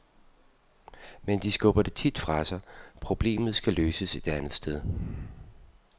Men de skubber det tit fra sig, problemet skal løses et andet sted.